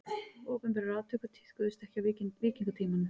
Opinberar aftökur tíðkuðust ekki á víkingatímanum.